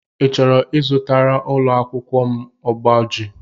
I chọrọ ịzụtara ụlọakwụkwọ m ụgbọjii?